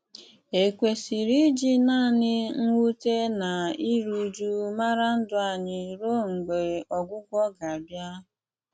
Ékwesírè íjì nánị mwùtè ná írú ụ̀jụ̀ márá ndụ́ ányị́ rùo mg̀bà ógwụ́gwụ́ gà-àbìá?